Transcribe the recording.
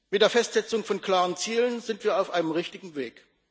Mit der Festsetzung von klaren Zielen sind wir auf einem richtigen Weg.